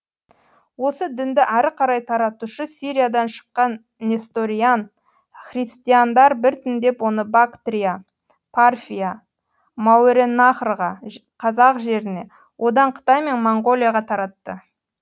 осы дінді әрі қарай таратушы сириядан шыққан несториан христиандар біртіндеп оны бактрия парфия мәуереннахрға қазақ жеріне одан қытай мен моңғолияға таратты